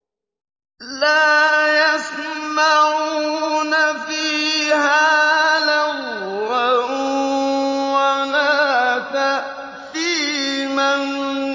لَا يَسْمَعُونَ فِيهَا لَغْوًا وَلَا تَأْثِيمًا